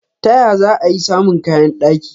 Ta ya za'a i samun kayan daki?